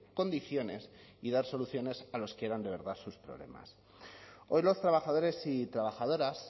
condiciones y dar soluciones a los que eran de verdad a sus problemas hoy los trabajadores y trabajadoras